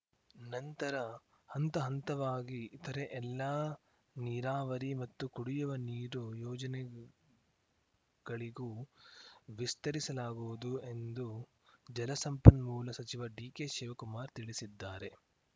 ನಂತರ ಹಂತ ಹಂತವಾಗಿ ಇತರೆ ಎಲ್ಲಾ ನೀರಾವರಿ ಮತ್ತು ಕುಡಿಯುವ ನೀರು ಯೋಜನೆಗಳಿಗೂ ವಿಸ್ತರಿಸಲಾಗುವುದು ಎಂದು ಜಲಸಂಪನ್ಮೂಲ ಸಚಿವ ಡಿಕೆಶಿವಕುಮಾರ್‌ ತಿಳಿಸಿದ್ದಾರೆ